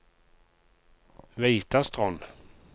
Veitastrond